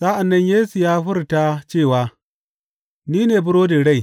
Sa’an nan Yesu ya furta cewa, Ni ne burodin rai.